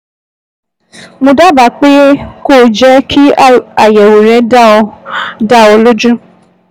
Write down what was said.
Mo dábàá pé kó o jẹ́ kí àyẹ̀wò rẹ dá ọ dá ọ lójú